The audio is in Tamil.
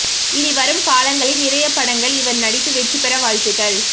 இனி வரும் காலங்களில் நிறைய படங்கள் இவர் நடித்து வெற்றிபெற வாழ்த்துக்கள்